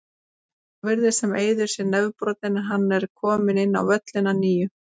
Svo virðist sem Eiður sé nefbrotinn, en hann er kominn inn á völlinn að nýju.